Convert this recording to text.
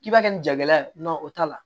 K'i b'a kɛ nin jala ye o t'a la